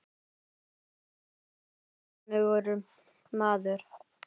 Hann var eins og ókunnugur maður.